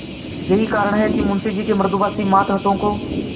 यही कारण है कि मुंशी जी के मृदुभाषी मातहतों को